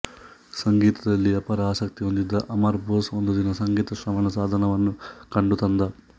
ಸಂಗೀತದಲ್ಲಿ ಅಪಾರ ಆಸಕ್ತಿ ಹೊಂದಿದ್ದ ಅಮರ್ ಬೋಸ್ ಒಂದುದಿನ ಸಂಗೀತ ಶ್ರವಣ ಸಾಧನವನ್ನು ಕೊಂಡು ತಂದ